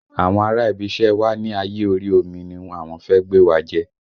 Àwọn ará ibi iṣẹ́ wa ni ayé orí omi ni àwọn fẹ́ gbé wa jẹ́